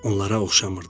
Onlara oxşamırdı.